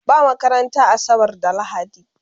Ba makaranta asabar da lahadi